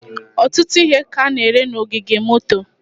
ọtụtụ ihe ka a na-ere n'ogige moto.